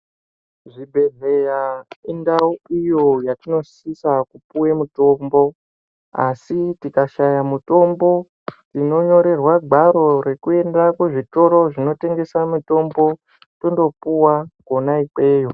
Zvibhedhleya indau iyo yatinosisa kupuwe mitombo, asi tikashaya mitombo ,tinonyorerwa ngwaro rekuenda kuzvitoro zvinotengesa mitombo, tondopiwa kwona ikweyo.